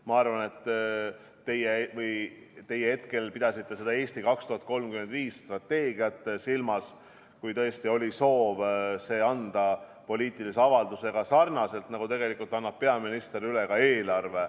Ma arvan, et teie pidasite silmas strateegiat "Eesti 2035", kui tõesti oli soov anda see üle poliitilise avaldusega sarnaselt, nii nagu peaminister annab üle ka eelarve.